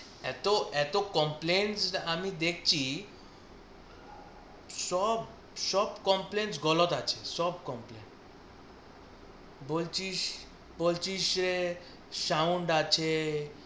এত, এত complane আমি দেখছি সব সব compliance গলদ আছে সব compliance বলছিস বলছিস যে sound আছে